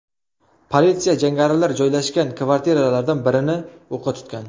Politsiya jangarilar joylashgan kvartiralardan birini o‘qqa tutgan.